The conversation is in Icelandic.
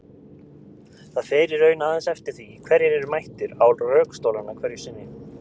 Það fer í raun aðeins eftir því hverjir eru mættir á rökstólana hverju sinni.